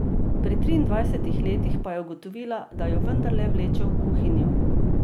Pri triindvajsetih letih pa je ugotovila, da jo vendarle vleče v kuhinjo.